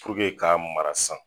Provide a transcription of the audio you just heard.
puruke k'a mara san